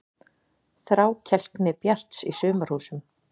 Þrákelkni Bjarts í Sumarhúsum